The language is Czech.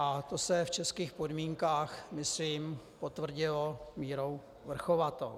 A to se v českých podmínkách myslím potvrdilo měrou vrchovatou.